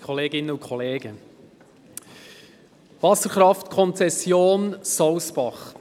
der BaK. Wasserkraftkonzession Sousbach